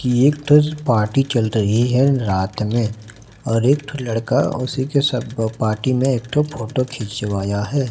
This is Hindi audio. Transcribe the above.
की ये फिर पार्टी चल रही है रात में और एक ठो लड़का उसी के अब ब पार्टी में एक ठो फोटो खिंचवाया है।